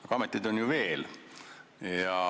Aga ameteid on ju veel.